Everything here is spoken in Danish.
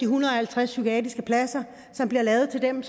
hundrede og halvtreds psykiatriske pladser som bliver lavet til dem